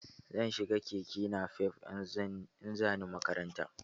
Zan shi ga keke nafef in za ni makaranta